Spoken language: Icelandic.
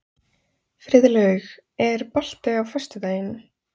Friðlaug, er bolti á föstudaginn?